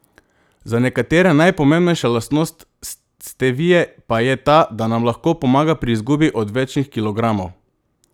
Za nekatere najpomembnejša lastnost stevie pa je ta, da nam lahko pomaga pri izgubi odvečnih kilogramov.